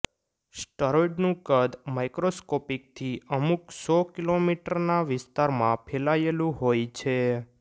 સ્ટરોઇડનું કદ માઇક્રોસ્કોપિકથી અમુક સો કિલોમિટરના વિસ્તારમાં ફેલાયેલું હોય છે